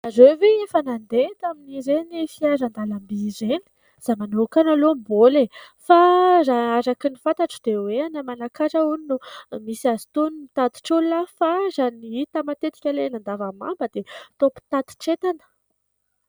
Ianareo ve efa nandeha tamin'ireny fiaran-dalamby ireny ? Izaho manokana aloha mbola fa raha araka ny fantatro dia hoe any Manakara hono misy azy itony mitatitr'olona fa raha ny hita matetika ilay eny an-davamamba dia toa mpitatitr'entana.